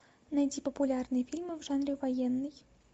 найти популярные фильмы в жанре военный